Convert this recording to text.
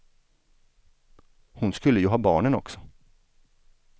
Hon skulle ju ha barnen också.